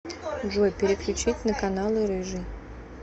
джой переключить на каналы рыжий